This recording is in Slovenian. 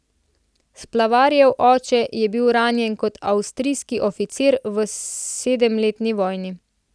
Splavarjev oče je bil ranjen kot avstrijski oficir v sedemletni vojni.